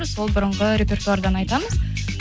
сол бұрынғы репертуардан айтамыз